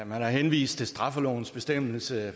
man har henvist til straffelovens bestemmelse